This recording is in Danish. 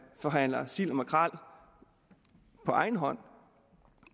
forhandler sild og makrel på egen hånd